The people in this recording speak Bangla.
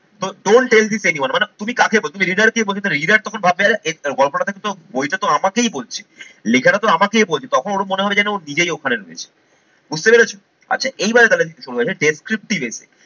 তো don't tell this anyone মানে তুমি কাকে বলছো? তুমি reader কে বলছ reader তখন ভাববে গল্পটা থেকে তো বইটা তো আমাকেই বলছে, লেখাটা তো আমাকেই বলছে তখন ওর মনে হল যেন ও নিজেই ওখানে রয়েছে বুঝতে পেরেছো? আচ্ছা এইবারে তালে descriptive এ